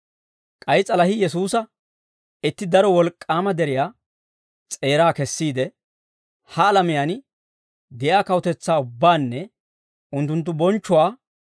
K'ay s'alahii Yesuusa itti daro wolk'k'aama deriyaa s'eeraa kessiide, ha alamiyaan de'iyaa kawutetsaa ubbaanne unttunttu bonchchuwaa